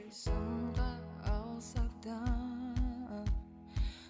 алсақ та